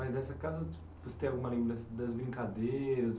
Mas nessa casa, você tem alguma lembrança das brincadeiras?